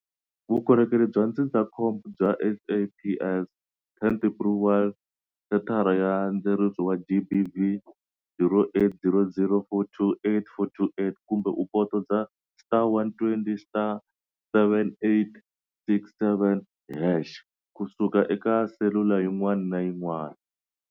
Vukorhokerhi bya ndzindzakhombo bya SAPS- 10111 Sethara ya Ndzeriso wa GBV- 0800 428 428 kumbe u photosa *120*7867# ku suka eka selula yin'wana na yin'wana.